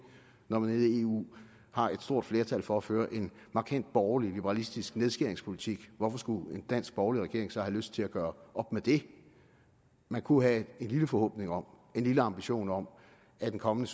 når man nede i eu har et stort flertal for at føre en markant borgerlig liberalistisk nedskæringspolitik hvorfor skulle en dansk borgerlig regering så have lyst til at gøre op med det man kunne have en lille forhåbning om en lille ambition om at en kommende